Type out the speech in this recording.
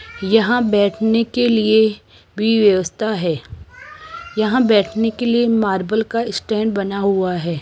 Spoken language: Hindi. यहां बैठने के लिए भी व्यवस्था है यहां बैठने के लिए मार्बल का स्टैंड बना हुआ है।